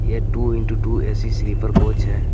यह two in two two A C sleeper coach है.